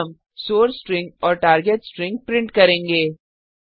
यहाँ हम source string और टार्गेट स्ट्रिंग प्रिंट करेंगे